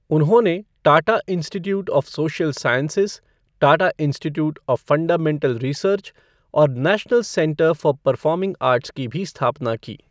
उन्होंने Tata Institute of Social Sciences, Tata Institute of Fundamental Research और National Centre for Performing Arts की भी स्थापना की।